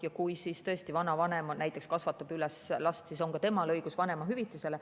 Kui näiteks vanavanem kasvatab last, siis on ka temal õigus vanemahüvitisele.